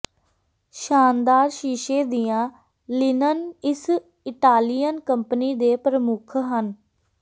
ਸ਼ਾਨਦਾਰ ਸ਼ੀਸ਼ੇ ਦੀਆਂ ਲਿਨਨ ਇਸ ਇਟਾਲੀਅਨ ਕੰਪਨੀ ਦੇ ਪ੍ਰਮੁੱਖ ਹਨ